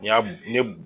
Ɲam ne